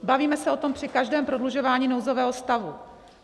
Bavíme se o tom při každém prodlužování nouzového stavu.